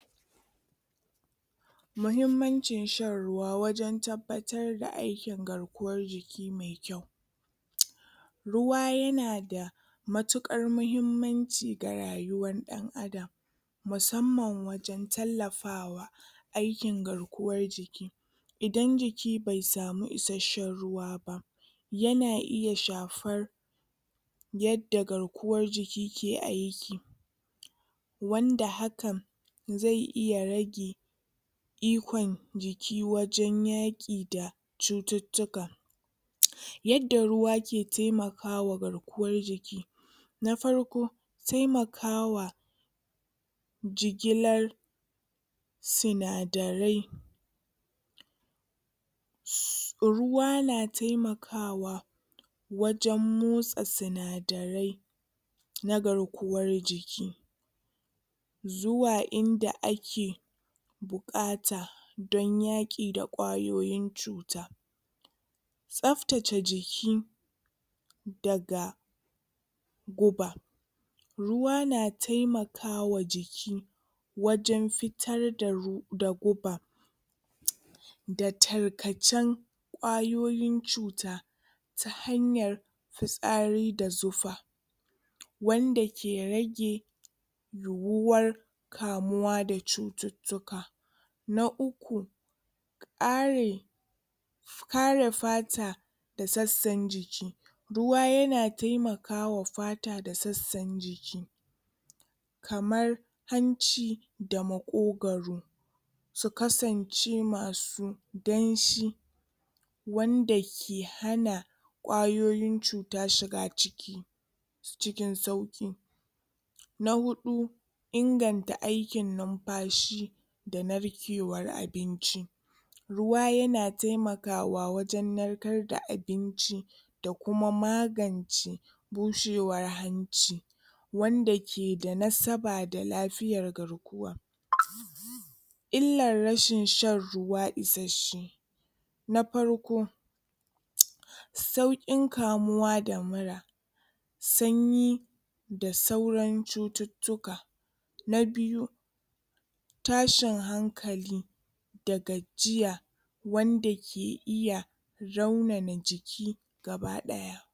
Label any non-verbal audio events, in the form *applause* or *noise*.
Muhimmancin shan ruwa wajen tabbatar aikin garkuwar. *noise* Ruwa ya na da matuƙar muhimmanci ga rayuwar ɗan-adam. Musamman wajen tallafa aikin garkuwar. Idan jiki bai samu isasshen ruwa ya na iya shafar yadda garkuwar jiki ke aiki wanda hakan zai iya rage ikon jiki wajen yaƙi da cututtuka *noise* Yadda ruwa ke taimakawa garkuwar jiki; Na farko, taimakawa jigilar sinadarai Su ruwa na taimakawa wajen motsa sinadarai na garkuwar jiki zuwa inda ake buƙata don yaƙi da ƙwayoyin cuta. Tsaftace jiki daga guba. Ruwa na taimakawa jiki wajen fitar da ru da guba. *noise* da tarkacen ƙwayoyin cuta ta hanyar fitsari da zufa. Wanda ke rage yiwuwar kamuwa da cututtuka. Na uku ƙare kare fata da sassan jiki Ruwa ya na taimakawa fata da sassan jiki. kamar hanci da maƙogaro su kasance masu danshi wanda ke hana ƙwayoyin cuta shiga ciki, cikin sauƙi. Na huɗu inganta aikin numfashi da narkewar abinci. Ruwa ya na taimakawa wajen narkar da abinci da kuma magance bushewar hanci wanda ke da nasaba da lafiyar garkuwa. Illar rashin shan ruwa isasshe; Na farko *noise* sauƙin kamuwa da mura, sanyi, da sauran cututtuka. Na biyu tashin hankali daga jiya wanda ke iya raunana jiki gaba-ɗaya.